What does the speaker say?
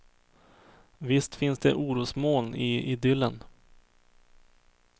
Visst finns det orosmoln i idyllen.